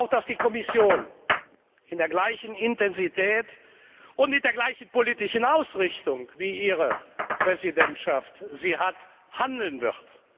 Ich hoffe auch, dass die Kommission mit der gleichen Intensität und mit der gleichen politischen Ausrichtung wie Ihre Präsidentschaft handeln wird.